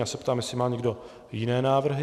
Já se ptám, jestli má někdo jiné návrhy.